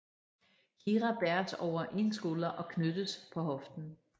Kira bæres over en skulder og knyttes på hoften